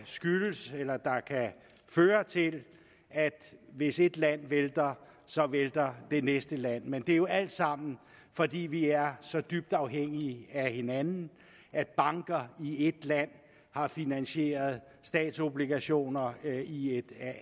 føre til at hvis ét land vælter så vælter det næste land men det er jo alt sammen fordi vi er så dybt afhængige af hinanden at banker i ét land har finansieret statsobligationer i et